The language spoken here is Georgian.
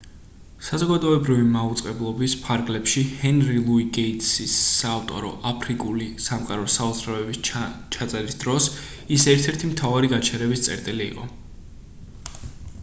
საზოგადოებრივი მაუწყებლობის ფარგლებში ჰენრი ლუი გეიტსის საავტორო აფრიკული სამყაროს საოცრებების ჩაწერის დროს ის ერთ-ერთი მთავარი გაჩერების წერტილი იყო